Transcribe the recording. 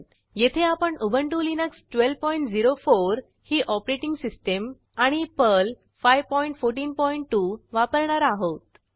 येथे आपण Ubuntu Linux 1204 ही ऑपरेटिंग सिस्टीम आणि पर्ल 5142 वापरणार आहोत